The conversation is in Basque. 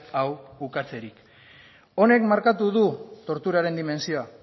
hau ukatzerik honek markatu du torturaren dimentsioa